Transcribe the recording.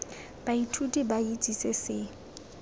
baithuti ba itse se se